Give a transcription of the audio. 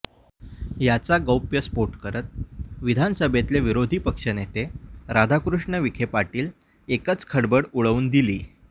याचा गौप्यस्फोट करत विधानसभेतले विरोधी पक्षनेते राधाकृष्ण विखे पाटील एकच खळबळ उडवून दिली